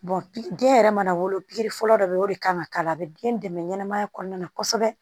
den yɛrɛ mana wolo pikiri fɔlɔ dɔ bɛ ye o de kan ka k'a la a bɛ den dɛmɛ ɲɛnɛmaya kɔnɔna na kosɛbɛ